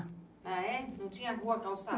Ah é? Não tinha rua calçada?